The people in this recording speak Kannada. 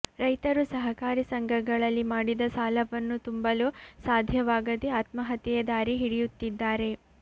ರೈತರು ಸಹಕಾರಿ ಸಂಘಗಳಲ್ಲಿ ಮಾಡಿದ ಸಾಲವನ್ನು ತುಂಬಲು ಸಾಧ್ಯವಾಗದೇ ಆತ್ಮಹತ್ಯೆಯ ದಾರಿ ಹಿಡಿಯುತ್ತಿದ್ದಾರೆ